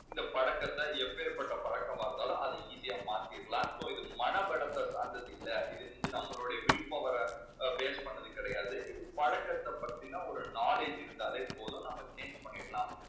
இந்த பழக்கத்தை எப்பேற்பட்ட பழக்கமாயிருந்தாலும், அதை easy யா மாத்திடலாம். so இது மன பலத்தை சார்ந்தது இல்ல. இது வந்து நம்மளுடைய will power ர base பண்ணினது கிடையாது. இது பழக்கத்தை பத்தின ஒரு knowledge இருந்தாலே போதும். நம்ம change பண்ணிடலாம்.